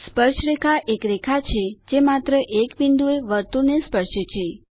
સ્પર્શરેખા એક રેખા છે જે માત્ર એક બિંદુ એ વર્તુળને સ્પર્શે છે